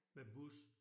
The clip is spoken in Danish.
Med bus